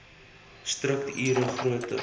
strukt ure groter